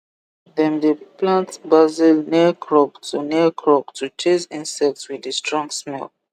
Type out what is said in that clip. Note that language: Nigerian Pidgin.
dem dey plant basil near crop to near crop to chase insect with the strong smell